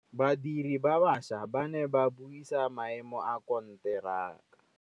Badiri ba baša ba ne ba buisa maêmô a konteraka.